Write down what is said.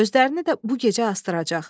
Özələrini də bu gecə asdıracaq.